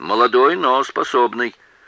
молодой но способный